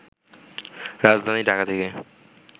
রাজধানী ঢাকা থেকে